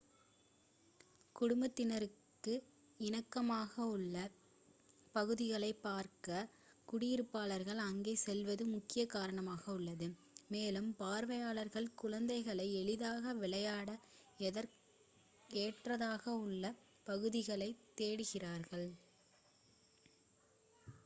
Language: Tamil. குடும்பத்தினருக்கு இணக்கமாக உள்ள பகுதிகளை பார்க்க குடியிருப்பாளர்கள் அங்கே செல்வது முக்கிய காரணமாக உள்ளது மேலும் பார்வையாளர்கள் குழந்தைகள் எளிதாக விளையாட ஏற்றதாக உள்ள பகுதிகளைத் தேடுகிறார்கள்